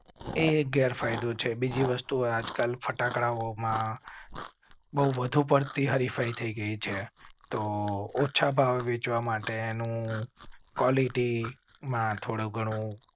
તો એક ગેર ફાયદો છે. બીજી વસ્તુ આજ કલ ફટાકડાઓ છે તો ઓછા ભાવે વેચવા માટે નું ક્વાલિટી થોડું ઘણું